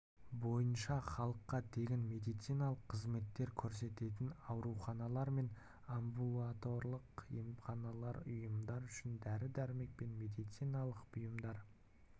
бойынша халыққа тегін медициналық қызметтер көрсететін ауруханалар мен амбулаторлық-емханалық ұйымдар үшін дәрі-дәрмек пен медициналық бұйымдар